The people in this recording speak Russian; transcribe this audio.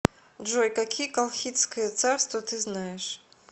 джой какие колхидское царство ты знаешь